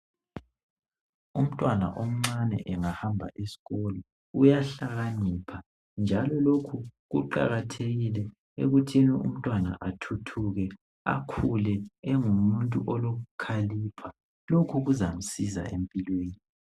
Umntwana omncane engahamba esikolo uyahlakanipha njalo lokhu kuqakathekile ekuthini umntwana ethuthuke akhule engumuntu olokukhalipha lokhu kuzamsiza empilweni.